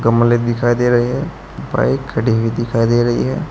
गमले दिखाई दे रहे हैं बाइक खड़ी हुई दिखाई दे रही है।